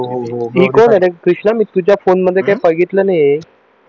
हि कोण आहे रे कृष्णा मी तुझ्या फोन मध्ये काय बघितलं नाही